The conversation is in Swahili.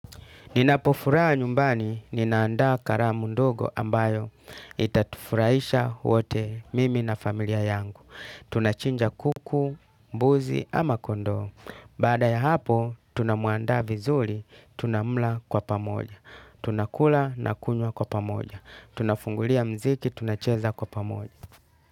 Ninapofuraha nyumbani, ninandaa karamu ndogo ambayo itatufurahisha wote mimi na familia yangu. Tunachinja kuku, mbuzi ama kondoo. Bada ya hapo, tunamuandaa vizuli, tunamla kwa pamoja. Tunakula na kunywa kwa pamoja. Tunafungulia mziki, tunacheza kwa pamoja.